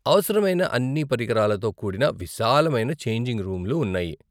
అవసరమైన అన్ని పరికరాలతో కూడిన విశాలమైన ఛేంజింగ్ రూమ్లు ఉన్నాయి.